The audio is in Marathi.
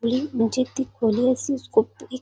अ म्हणजे खोली म्हणजे ती खोली --